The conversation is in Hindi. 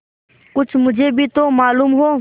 कुछ मुझे भी तो मालूम हो